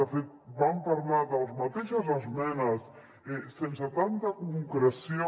de fet vam parlar de les mateixes esmenes sense tanta concreció